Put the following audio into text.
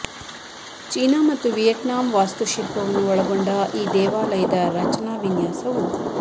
China ಮತ್ತು Vietnam ವಾಸ್ತುಶಿಲ್ಪವನ್ನು ಒಳಗೊಂಡ ಈ ದೇವಾಲಯದ ರಚನಾ ವಿನ್ಯಾಸವು